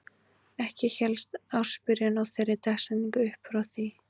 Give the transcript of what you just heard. Ekki hélst ársbyrjun á þeirri dagsetningu upp frá því.